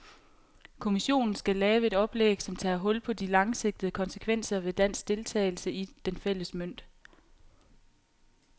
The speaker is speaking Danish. Kommissionen skal lave et oplæg, som tager hul på de langsigtede konsekvenser ved dansk deltagelse i den fælles mønt.